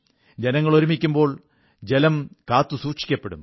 ജനങ്ങൾ ഒരുമിക്കുമ്പോൾ ജലം കാത്തുസൂക്ഷിക്കപ്പെടും